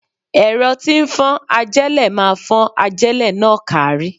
Ẹ̀rọ tí ń fọ́n ajélẹ̀ máa fọ́n ajélẹ̀ náà kárí.